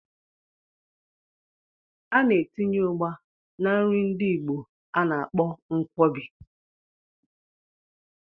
A na-etinye Ugba na nri ndi igbo a na-akpọ Nkwobi.